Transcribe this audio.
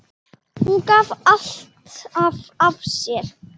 Hún gaf alltaf af sér.